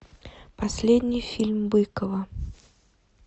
последний фильм быкова